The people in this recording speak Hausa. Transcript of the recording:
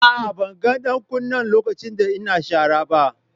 Aa, ban gan dan kunin lokacin da n'na sharan ba.